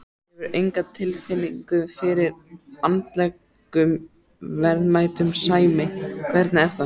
Hefurðu enga tilfinningu fyrir andlegum verðmætum, Sæmi, hvernig er það?